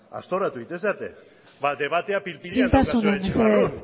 aztoratu egiten zarete isiltasuna mesedez ba debatea